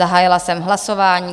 Zahájila jsem hlasování.